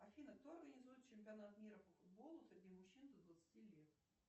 афина кто организует чемпионат мира по футболу среди мужчин до двадцати лет